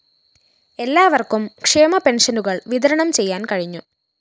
എല്ലാ വര്‍ക്കും ക്ഷേമ പെന്‍ഷ്യനുകള്‍ വിതരണം ചെയ്യാന്‍ കഴിഞ്ഞു